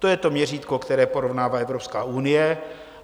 To je to měřítko, které porovnává Evropská unie.